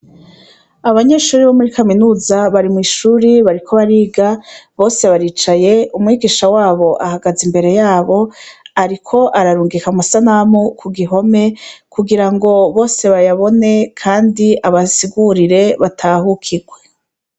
Abanyeshuri bo muri kaminuza bari mw'ishuri bariko bariga bose baricaye umwigisha wabo ahagaze imbere yabo, ariko ararungika amusanamu ku gihome kugira ngo bose bayabone, kandi abasigurire batahukirwe.